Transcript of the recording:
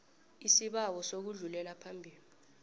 isibawo sokudlulela phambili